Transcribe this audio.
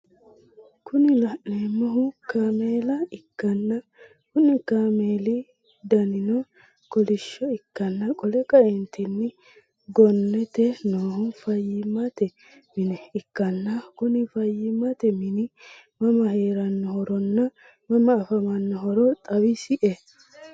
Kuni laneemmohu kaameela ikkanna Konni kaameeli danino kolishsho ikkanna qole kaeentini gonnete noohu fayyimmate mine ikkanna Kuni fayyimmate mini mama heerannohoronna mama afamannohoro xawisie?